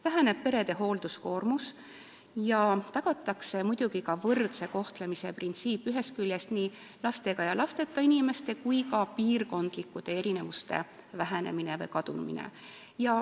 Väheneb perede hoolduskoormus ja tagatakse muidugi ka võrdse kohtlemise printsiip, nii lastega ja lasteta inimeste kui ka piirkondlike erinevuste vähenemine või kadumine.